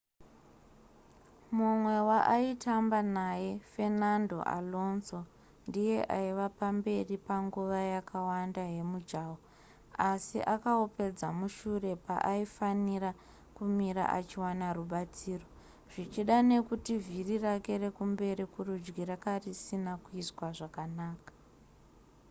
mumwe waaitamba naye fernando alonso ndiye aive paamberi panguva yakawanda yemujaho asi akaupedza mushure paaifanira kumira achiwana rubatsiro zvichida nekuti vhiri rake rekumberi kurudyi ranga risina kuiswa zvakanaka